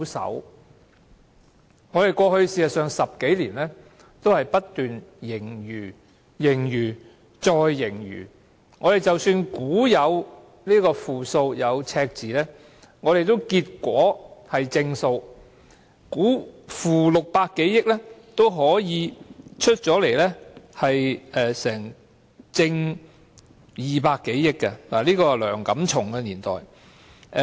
事實上，過去10多年的估算均不斷是盈餘、盈餘、再盈餘，即使估計會出現負數、赤字，結果也是正數；即使估計是負600多億元，最後的結果也可以是正200多億元，這是梁錦松年代的事情。